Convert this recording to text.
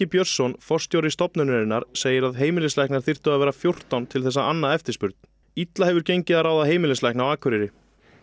Björnsson forstjóri stofnunarinnar segir að heimilislæknar þyrftu að vera fjórtán til þess að anna eftirspurn illa hefur gengið að ráða heimilislækna á Akureyri